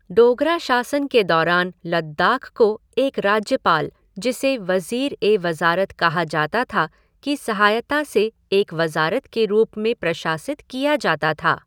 डोगरा शासन के दौरान लद्दाख को एक राज्यपाल, जिसे वज़ीर ए वज़ारत कहा जाता था, की सहायता से एक वज़ारत के रूप में प्रशासित किया जाता था।